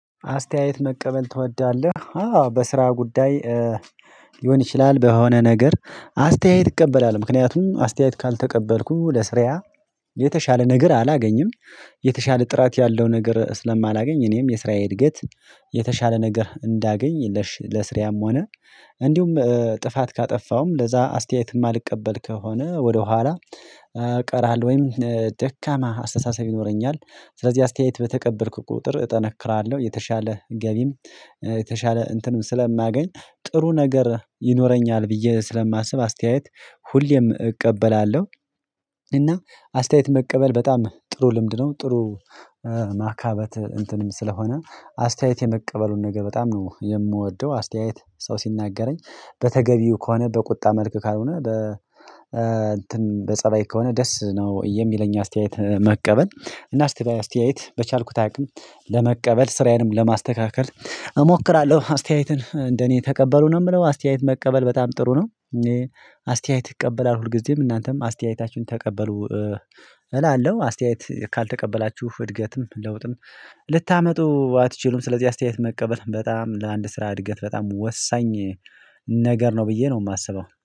አስተያየት መቀበል ትወዳለህ አዎ በስራ ጉዳይ ሊሆን ይችላል። በሆነ ነገር አስተያየት እቀበላለሁ ምክንያቱም አስተያየት ካልተቀበልኩኝ ለስርያ የተሻለ ነገር አላገኝም። የተሻለ ጥራት ያለው ነገር ስለማላገኝ እኔም የስራዬ እድገት። የተሻለ ነገር እንዳገኝ ለስርያም ሆነ እንዲሁም ጥፋት ካጠፋውም ለዛ አስተያየትም አልቀበል ከሆነ ወደኋላ ቀራለሁ ወይም ደካማ አስተሳሰብ ይኖረኛል። ስለዚህ አስተያየት በተቀበልክ ቁጥር እጠነክራለሁ የተሻለ ገቢም የተሻለ እንትንም ስለማገኝ ጥሩ ነገር ይኖረኛል ብዬ ስለማስብ አስተያየት ሁሌም እቀበላለሁ። እና አስተያየት መቀበል በጣም ጥሩ ልምድ ነው። ጥሩ ማካበት እንትን ስለሆነ አስተያየት የመቀበሉን ነገር በጣም ነው የምወደው። አስተያየት ሰው ሲናገረኝ በተገቢው ከሆነ በቁጣ መልክ ካልሆነ በ እንትን በጸባይ ከሆነ ደስ ነው የሚለኝ። አስተያየት መቀበል እና እስቲ አስተያየት በቻልኩት አቅም ለመቀበል ስራዬንም ለማስተካከል እሞክራለሁ። አስተያየትን እንደኔ ተቀበሉ ነው የምለው። አስተያየት መቀበል በጣም ጥሩ ነው። አስተያየት ይቀበላል ሁልጊዜም እናንተም አስተያየታችን ተቀበሉ እላለሁ። አስተያየት ካልተቀበላችሁ እድገትም ለውጥም ልታመጡ አትችሉም። ስለዚህ አስተያየት መቀበል በጣም ለአንድ ስራ እድገት በጣም ወሳኝ ነገር ነው ብዬ ነው የማስበው